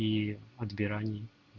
и отбирании